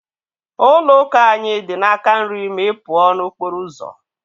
Ụlọ ụka anyị dị n'aka nri gị ma ị pụọ n'okporo ụzọ.